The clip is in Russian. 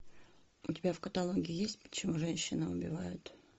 у тебя в каталоге есть почему женщины убивают